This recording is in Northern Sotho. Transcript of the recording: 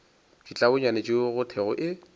ditlabonyane tšeo go thwego e